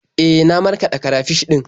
E, na markaɗa karafish ɗin.